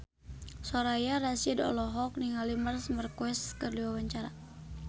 Soraya Rasyid olohok ningali Marc Marquez keur diwawancara